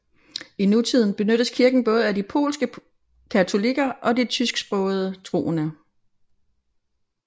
I nutiden benyttes kirken både af de polske katolikker og de tysksprogede troende